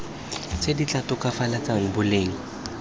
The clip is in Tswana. tse di tla tokafatsang boleng